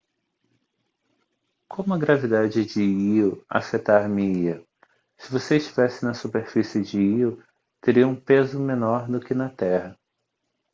como a gravidade de lo afetar-me-ia se você estivesse na superfície de lo teria um peso menor do que na terra